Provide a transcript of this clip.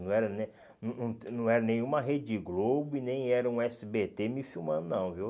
Não era nem não não não era nenhuma rede Globo e nem era um esse bê tê me filmando, não viu.